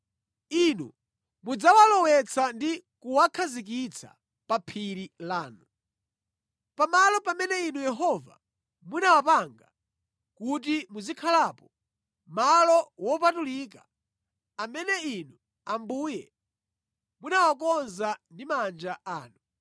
Inu mudzawalowetsa ndi kuwakhazikitsa pa phiri lanu. Pa malo pamene Inu Yehova munawapanga kuti muzikhalapo; malo wopatulika amene Inu Ambuye munawakonza ndi manja anu.